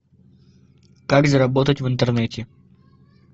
как заработать в интернете